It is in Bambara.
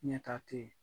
Ɲɛta tɛ yen